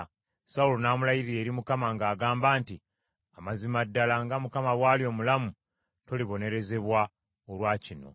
Sawulo n’amulayirira eri Mukama ng’agamba nti, “Amazima ddala, nga Mukama bw’ali omulamu, tolibonerezebwa olwa kino.”